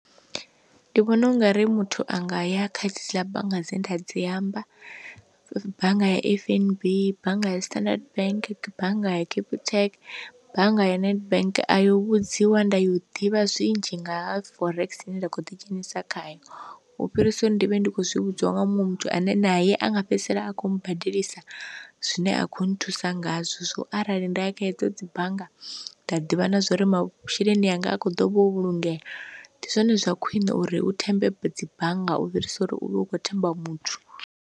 Ndi vhona ungari muthu a nga ya kha dziḽa bannga dzine nda dzi amba bannga ya F_N_B, bannga ya standard bank, bannga ya capitec, bannga ya nedbank. A yo vhudziwa nda ya u ḓivha zwinzhi nga forex ine nda kho ḓi dzhenisa khayo, u fhirisa uri ndi vhe ndi kho zwi vhudziwa nga muṅwe muthu ane naye anga fhedzisela a kho badelisa zwine a khou nthusa ngazwo, so arali nda ya kha hedzo dzi bannga nda ḓivha na zwa uri masheleni anga a kho ḓovha u vhulungea ndi zwone zwa khwiṋe uri hu thembe dzi bannga u fhirisa uri u vhe ukho themba muthu.